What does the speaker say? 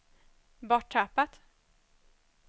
borttappat